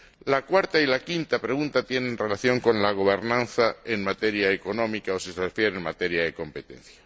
La cuarta y la quinta pregunta tienen relación con la gobernanza en materia económica o, si lo prefieren, en materia de competencia.